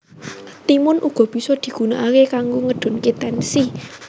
Timun uga bisa digunakake kanggo ngedunke tensi